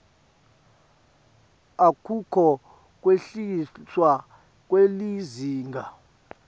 akukho kwehliswa kwelizinga